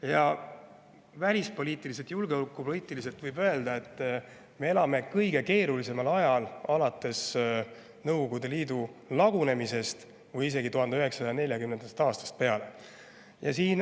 Ja võib öelda, et välispoliitiliselt, julgeolekupoliitiliselt me elame kõige keerulisemal ajal alates Nõukogude Liidu lagunemisest või isegi 1940. aastast peale.